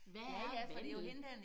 Hvad er vandel